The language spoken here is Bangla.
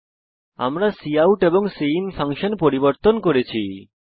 এবং আমরা কাউট এবং সিআইএন ফাংশন পরিবর্তন করেছি